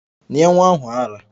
Nye nwa ahu ara!